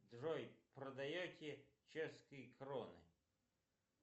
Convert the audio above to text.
джой продаете чешские кроны